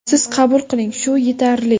Siz qabul qiling, shu yetarli.